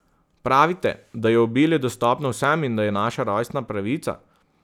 Pravite, da je obilje dostopno vsem in da je naša rojstna pravica.